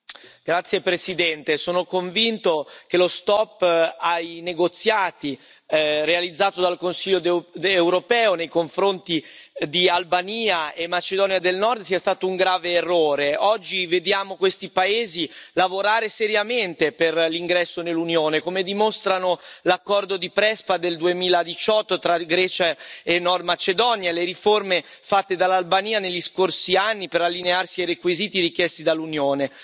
Signor Presidente, onorevoli colleghi, sono convinto che lo stop ai negoziati, realizzato dal Consiglio europeo nei confronti di Albania e Macedonia del Nord sia stato un grave errore. Oggi vediamo questi paesi lavorare seriamente per l'ingresso nell'Unione, come dimostrano l'accordo di Prespa del 2018 tra Grecia e Nord Macedonia e le riforme fatte dall'Albania negli scorsi anni per allinearsi ai requisiti richiesti dall'Unione.